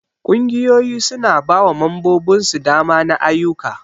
Ƙungiyoyi su na ba wa membobin su dama na ayuka.